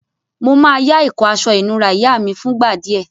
Mo má yá ìkó aso ìnura ìyá mí fúngbà díè